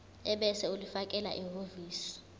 ebese ulifakela ehhovisi